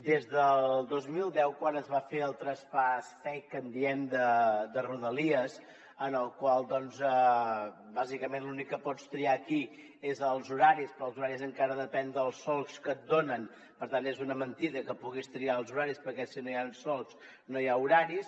des del dos mil deu quan es va fer el traspàs fake que en diem de rodalies en el qual bàsicament l’únic que pots triar aquí són els horaris però els horaris encara depenen dels solcs que et donen per tant és una mentida que puguis triar els horaris perquè si no hi han solcs no hi ha horaris